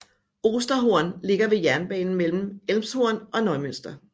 Osterhorn ligger ved jernbanen mellem Elmshorn og Neumünster